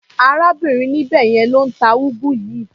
Arábìnrin níbẹ̀ yẹn ló ń ta úgú yìí.